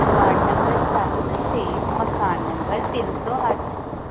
ward number ਸੱਤ ਤੇ ਮਕਾਨ ਨੰਬਰ ਤਿੰਨ ਸੌ ਅੱਠ